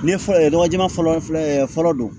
Ne fɔlɔ ye dɔgɔjɛ fɔlɔ don